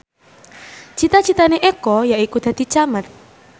cita citane Eko yaiku dadi camat